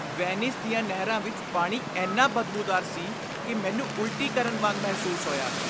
Venice ਦੀਆਂ ਨਹਿਰਾਂ ਵਿੱਚ ਪਾਣੀ ਇੰਨਾ ਬਦਬੂਦਾਰ ਸੀ ਕਿ ਮੈਨੂੰ ਉਲਟੀ ਕਰਨ ਵਾਂਗ ਮਹਿਸੂਸ ਹੋਇਆ।